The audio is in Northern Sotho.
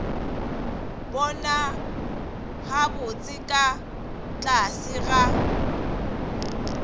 bona gabotse ka tlase ga